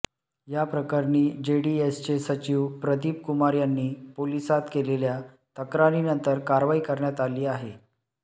याप्रकरणी जेडीएसचे सचिव प्रदिप कुमार यांनी पोलीसांत केलेल्या तक्रारीनंतर कारवाई करण्यात आली आहे